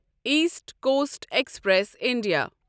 east coast express India